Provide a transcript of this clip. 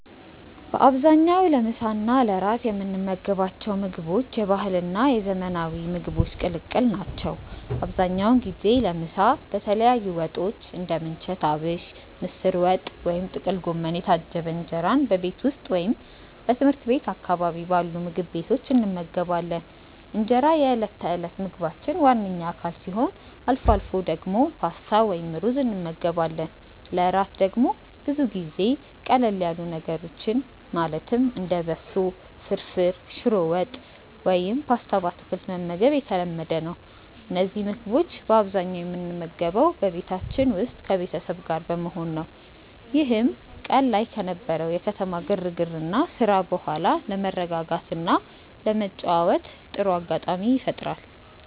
በአብዛኛው ለምሳ እና ለእራት የምንመገባቸው ምግቦች የባህልና የዘመናዊ ምግቦች ቅልቅል ናቸው። አብዛኛውን ጊዜ ለምሳ በተለያዩ ወጦች (እንደ ምንቸት አቢሽ፣ ምስር ወጥ ወይም ጥቅል ጎመን) የታጀበ እንጀራን በቤት ውስጥ ወይም ትምህርት ቤት አካባቢ ባሉ ምግብ ቤቶች እንመገባለን። እንጀራ የዕለት ተዕለት ምግባችን ዋነኛ አካል ሲሆን፣ አልፎ አልፎ ደግሞ ፓስታ ወይም ሩዝ እንመገባለን። ለእራት ደግሞ ብዙ ጊዜ ቀለል ያሉ ምግቦችን ማለትም እንደ በሶ ፍርፍር፣ ሽሮ ወጥ ወይም ፓስታ በአትክልት መመገብ የተለመደ ነው። እነዚህን ምግቦች በአብዛኛው የምንመገበው በቤታችን ውስጥ ከቤተሰብ ጋር በመሆን ነው፤ ይህም ቀን ላይ ከነበረው የከተማ ግርግርና ስራ በኋላ ለመረጋጋትና ለመጨዋወት ጥሩ አጋጣሚ ይፈጥራል።